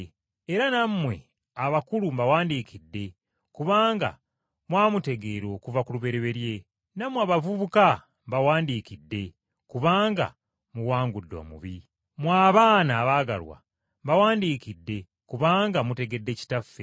Era nammwe abakulu, mbawandiikidde kubanga mwamutegeera okuva ku lubereberye. Nammwe abavubuka, mbawandiikidde kubanga muwangudde omubi. Mmwe abaana abaagalwa bawandiikidde, kubanga mutegedde Kitaffe.